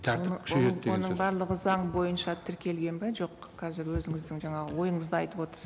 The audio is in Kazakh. тәртіп күшейеді деген сөз барлығы заң бойынша тіркелген бе жоқ қазір өзіңіздің жаңағы ойыңызды айтып